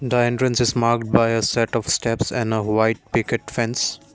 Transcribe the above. the entrance is mark by a set of steps in a white wicket fench.